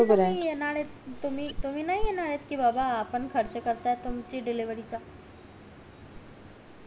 तुम्ही नाही येणार ये कि बाबा आपण खर्च करता तुमची डिलेव्हरी चा